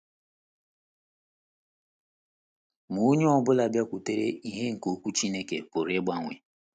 Ma onye ọ bụla bịakwutere ìhè nke Okwu Chineke pụrụ ịgbanwe.